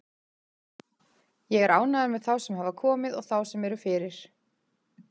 Ég er ánægður með þá sem hafa komið og þá sem eru fyrir.